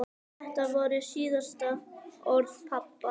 Þetta voru síðustu orð pabba.